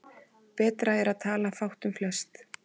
Betra er að tala fátt um flest.